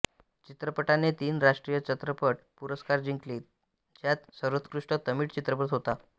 चित्रपटाने तीन राष्ट्रीय चित्रपट पुरस्कार जिंकले ज्यात सर्वोत्कृष्ट तमिळ चित्रपट होता